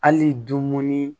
Hali dumuni